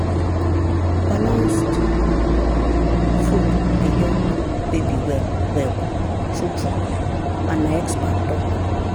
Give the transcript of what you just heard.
balanced food dey help baby well well true true and na expert talk.